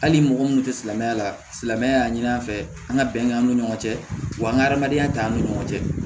Hali mɔgɔ minnu tɛ silamɛya la silamɛya y'a ɲini an fɛ an ka bɛn an ni ɲɔgɔn cɛ wa an ka adamadenya t'an ni ɲɔgɔn cɛ